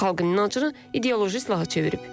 Xalqın inancını ideoloji silaha çevirib.